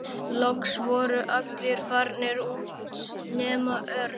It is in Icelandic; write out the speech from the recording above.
Loks voru allir farnir út nema Örn.